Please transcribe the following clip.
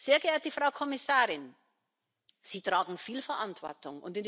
Sehr geehrte Frau Kommissarin, Sie tragen viel Verantwortung.